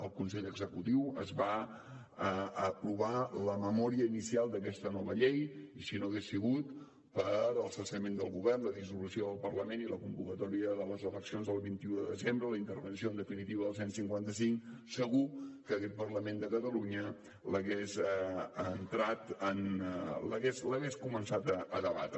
al consell executiu es va aprovar la memòria inicial d’aquesta nova llei i si no hagués sigut pel cessament del govern la dissolució del parlament i la convocatòria de les eleccions del vint un de desembre la intervenció en definitiva del cent i cinquanta cinc segur que aquest parlament de catalunya l’hagués començat a debatre